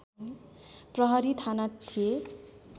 प्रहरी थाना थिए